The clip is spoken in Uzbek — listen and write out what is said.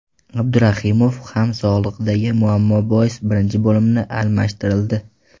Abdurahimov ham sog‘lig‘idagi muammo bois birinchi bo‘limda almashtirildi.